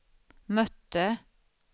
mötte